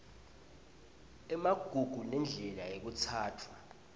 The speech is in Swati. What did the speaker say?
emagugu nendlela lekutsatfwa